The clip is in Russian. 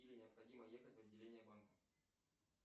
или необходимо ехать в отделение банка